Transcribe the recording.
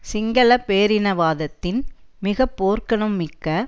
சிங்கள பேரினவாதத்தின் மிக போர்க்குணம் மிக்க